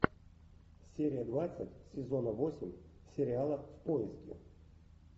серия двадцать сезона восемь сериала в поиске